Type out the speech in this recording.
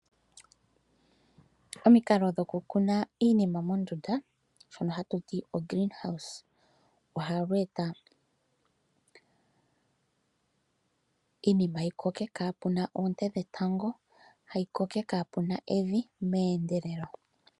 Omikalo dhoku kuna iinima mondunda shoka hatu ti ogreen house, ohayi eta iinima yi koke kaa pena oonte dhe tango, hayi koko kaapena evi meendelelo.